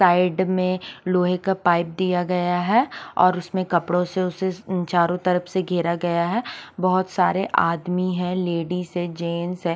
Side में लोहे का पाइप दिया गया है और उसमें कपड़ों से उसे चारों तरफ से घेरा गया है बहोत सारे आदमी है लेडीस है जेंट्स हैं।